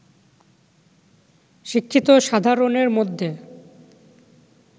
শিক্ষিত সাধারণের মধ্যে